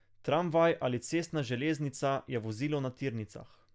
Tramvaj ali cestna železnica je vozilo na tirnicah.